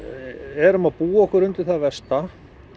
erum að búa okkur undir það versta